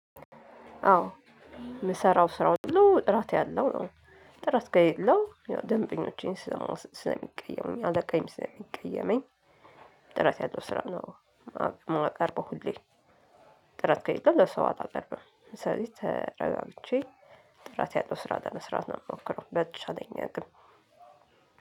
አዎ የምሰራው ስራው ነው ጥራት ያለው ነው ጥራት ከሌለው ደንበኞቼን ስለሚቀየሙኝ አለቃዬም ስለሚቀየመኝ ጥረት ያለው ስራ ነው። ማቀርበው ሁሌ ጥራት ከሌለ ለሰው አላቀርብም። ስለዚህ ተረጋግቼ ጥራት ያለው ስራ ለመስራት ነው የምሞክረው። በተቻለኛ አቅም